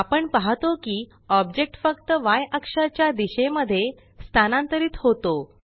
आपण पाहतो की ऑब्जेक्ट फक्तY अक्षाच्या दिशेमध्ये स्थानांतरित होतो